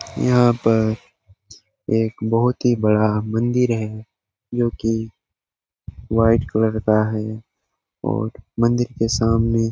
यहां पर एक बहुत ही बड़ा मंदिर है जो कि व्हाइट कलर का है और मंदिर के सामने --